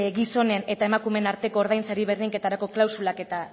gizonen eta emakumeen arteko ordaintzari berdinketarako klausulak eta